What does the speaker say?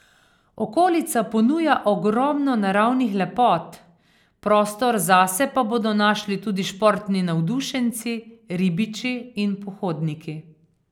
Okolica ponuja ogromno naravnih lepot, prostor zase pa bodo našli tudi športni navdušenci, ribiči in pohodniki.